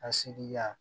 A segi yan